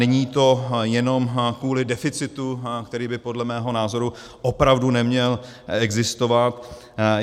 Není to jenom kvůli deficitu, který by podle mého názoru opravdu neměl existovat.